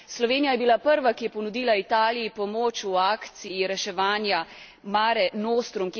Slovenija je bila prva, ki je ponudila Italiji pomoč v akciji reševanja Mare nostrum.